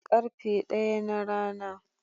Karfe ɗaya na rana.